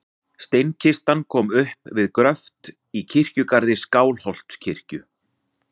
Steinkistan kom upp við gröft í kirkjugarði Skálholtskirkju.